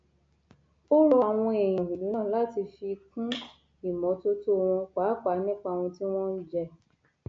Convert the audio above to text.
ó rọ àwọn èèyàn ìlú náà láti fi kún ìmọtótó wọn pàápàá nípa ohun tí wọn ń jẹ